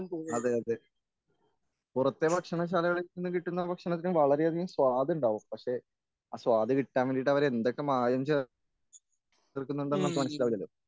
അതെ അതെ പുറത്തെ ഭക്ഷണശാലകളിൽ നിന്നും കിട്ടുന്ന ഭക്ഷണത്തിന് വളരെയധികം സ്വാദുണ്ടാവും പക്ഷേ ആസ്വാദ് കിട്ടാൻ വേണ്ടിയിട്ട് അവര് എന്തൊക്കെ മായം ചേർ ചേർക്കുന്നുണ്ടെന്ന് നമുക്ക് മനസ്സിലാകില്ലല്ലോ